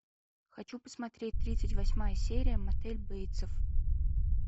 хочу посмотреть тридцать восьмая серия мотель бейтсов